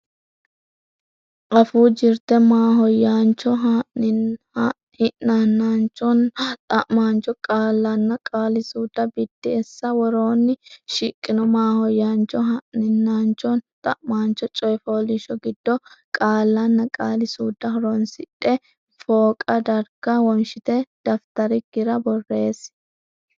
Afuu Jirte Maahoyyaancho, Hi’naanchonna Xa’maancho Qaallanna Qaali suudda Biddissa Woroonni shiqqino maahoyyaancho, hi’naanchonna xa’maancho coy fooliishsho giddo qaallanna qaali suudda horonsidhe fooqa darga wonshite dafitarikkira borreessi.